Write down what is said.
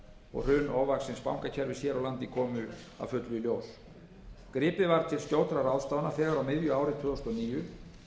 og hrun ofvaxins bankakerfis hér á landi komu að fullu í ljós gripið var til skjótra ráðstafana þegar á miðju ári tvö þúsund og níu